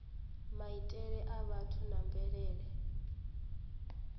maitele a vhathu na mvelele